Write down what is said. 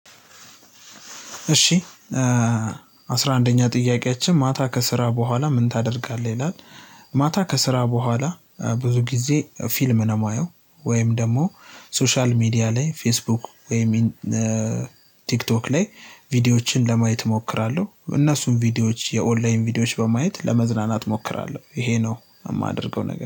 እሺ አስራ አንደኛ ጥያቂያችን ማታ ከስራ በኋላ ምን ታደርጋለህ ይላል? ማታ ከስራ በኋላ ብዙ ጊዜ ፊልም ነው የማየው። ወይም ደግሞ ሶሻል ሚዲያ ላይ ፌስቡክ ወይም ቲክቶክ ላይ ቪዲዮዎችን ለማየት እሞክራለሁ። እነሱን ቪዲዮዎች የኦንላይን ቪዲዮዎች በማየት ለመዝናናት እሞክራለሁ ይሄ ነው የማደርገው። ነገር